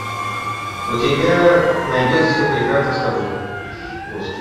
у тебя найдется все прекрасно с тобой